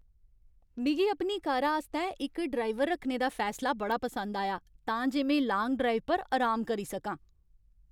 मिगी अपनी कारा आस्तै इक ड्राइवर रक्खने दा फैसला बड़ा पसंद आया तां जे में लांग ड्राइव पर अराम करी सकां।